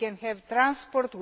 we can have transport